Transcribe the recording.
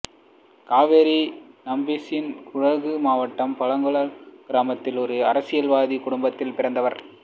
காவேரி நம்பீசன் குடகு மாவட்டம் பலங்கலா கிராமத்தில் ஓர் அரசியல்வாதி குடும்பத்தில் பிறந்தார்